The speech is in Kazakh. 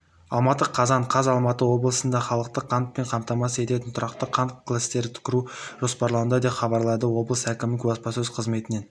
алматы қазан қаз алматы облысында халықты қантпен қамтамасыз ететін тұрақты қант кластерін құру жоспарлануда деп хабарлады облыс әкімінің баспасөз қызметінен